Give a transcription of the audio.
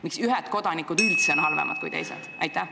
Miks ühed kodanikud üldse on halvemad kui teised?